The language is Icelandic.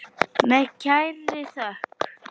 Með kærri þökk.